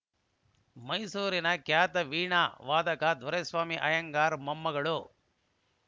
ಮೈಸೂರಿನ ಖ್ಯಾತ ವೀಣಾ ವಾದಕ ದೊರೆಸ್ವಾಮಿ ಅಯ್ಯಂಗಾರ್‌ ಮೊಮ್ಮಗಳು